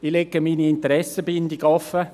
Ich lege meine Interessenbindung offen: